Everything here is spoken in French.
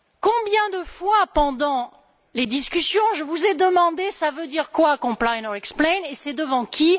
Combien de fois, pendant les discussions, vous ai je demandé ça veut dire quoi comply or explain et c'est devant qui?